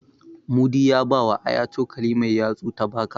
Mudi ya bawa Aya cokali mai yatsu ta baka.